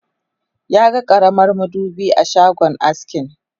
Ya ga karamar madubi a shagon askin.